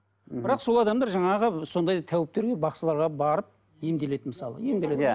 ммм бірақ сол адамдар жаңағы сондай тәуіптерге бақсыларға барып емделеді мысалы емделеді иә